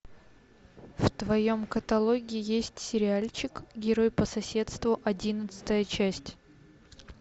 в твоем каталоге есть сериальчик герой по соседству одиннадцатая часть